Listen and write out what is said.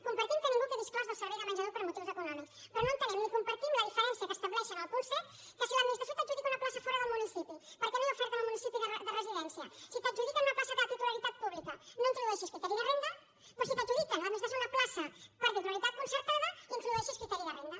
compartim que ningú quedi exclòs del servei de menjador per motius econòmics però no entenem ni compartim la diferència que estableixen en el punt set que si l’administració t’adjudica una plaça fora del municipi perquè no hi ha oferta en el municipi de residència si t’adjudiquen una plaça de titularitat pública no introdueixis criteri de renda però que si l’administració t’adjudica una plaça per titularitat concertada introdueixis criteri de renda